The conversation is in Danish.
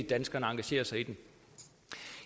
danskerne engagerer sig i den